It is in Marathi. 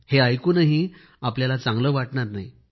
हे ऐकूनही आपल्याला चांगले वाटणार नाही